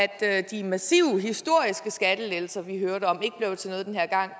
at de massive historiske skattelettelser vi hørte om ikke blev til noget den her gang